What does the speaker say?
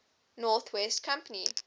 north west company